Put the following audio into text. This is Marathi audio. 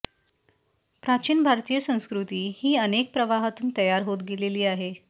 प्राचीन भारतीय संस्कृती ही अनेक प्रवाहातून तयार होत गेलेली आहे